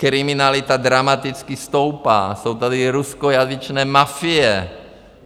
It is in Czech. Kriminalita dramaticky stoupá, jsou tady ruskojazyčné mafie.